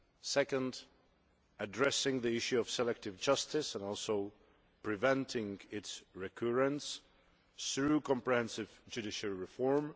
secondly, addressing the issue of selective justice and also preventing its recurrence through comprehensive judiciary reform